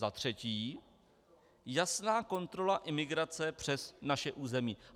Za třetí jasná kontrola imigrace přes naše území.